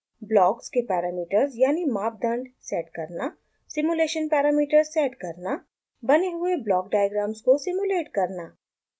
blocks के parameters यानि मापदंड सेट करना सिम्युलेशन पैरामीटर्स सेट करना बने हुए ब्लॉक डायग्राम्स को सिम्युलेट करना